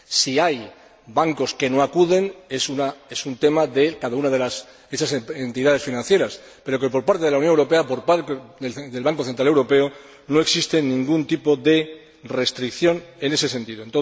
Si hay bancos que no acuden, es un tema de cada una de esas entidades financieras, pero que, por parte de la Unión Europea, por parte del Banco Central Europeo, no existe ningún tipo de restricción en ese sentido.